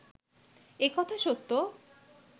এ কথা সত্য